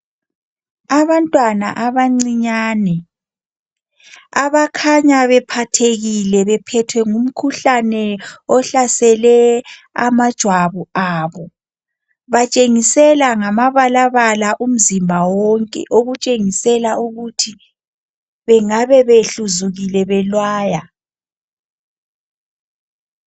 Abantwana abancinyane abakhanya bephathekile bephethwe ngumkhuhlane ohlasele amajwabu abo batshengisela ngamabalabala umzimba wonke okutshengisela ukuthi bengabe behluzukile benwaya.